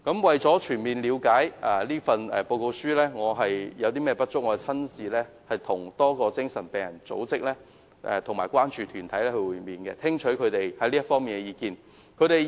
為全面了解《報告》有何不足之處，我曾親自與多個精神病人組職和關注團體會面，聽取他們在這方面的意見。